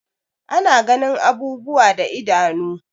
Ana ganin abubuwa da idanu.